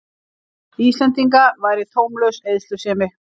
Íslendinga væri taumlaus eyðslusemi.